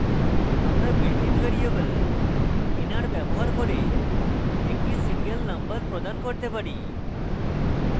আমরা built in variable nr ব্যবহার করে একটি serial number প্রদান করতে পারি